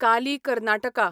Kali Karnataka